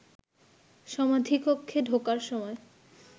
সমাধিকক্ষে ঢোকার সময়